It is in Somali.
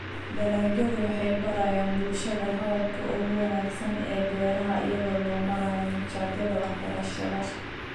Dalagyadu waxay barayaan bulshada hababka ugu wanaagsan ee beeraha iyada oo loo marayo machadyada waxbarashada.